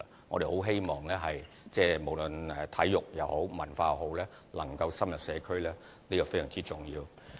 我們很希望無論體育也好、文化也好，能深入社區，這是非常重要的。